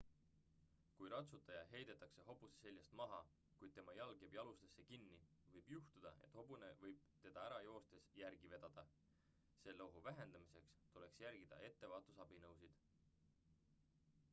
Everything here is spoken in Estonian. kui ratsutaja heidetakse hobuse seljast maha kuid tema jalg jääb jalusesse kinni võib juhtuda et hobune võib teda ära joostes järgi vedada selle ohu vähendamiseks tuleks järgida ettevaatusabinõusid